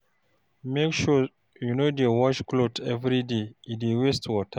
Make sure you no dey wash clothes everyday, e dey waste water.